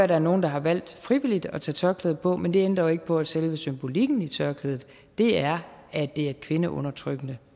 der er nogle der har valgt frivilligt at tage tørklædet på men det ændrer jo ikke på at selve symbolikken i tørklædet er at det er et kvindeundertrykkende